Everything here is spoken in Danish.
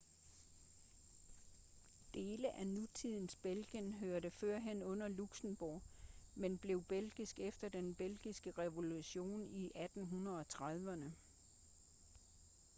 dele af nutidens belgien hørte førhen under luxembourg men blev belgiske efter den belgiske revolution i 1830'erne